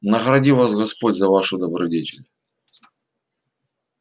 награди вас господь за вашу добродетель